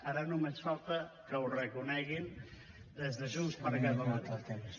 ara només falta que ho reconeguin des de junts per catalunya